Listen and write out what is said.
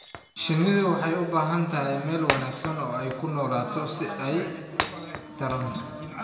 Shinnidu waxay u baahan tahay meel wanaagsan oo ay ku noolaato si ay u sii tarranto.